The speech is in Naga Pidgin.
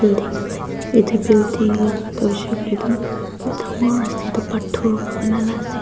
building ase etu building laga tu hoise koiley tu dangor ase etu pathor para bana lah ase.